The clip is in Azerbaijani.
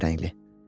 Qəhvəyi rəngli.